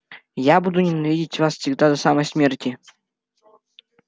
я буду ненавидеть вас всегда до самой смерти